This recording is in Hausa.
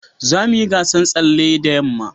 za mu yi gasan tsalle da yamma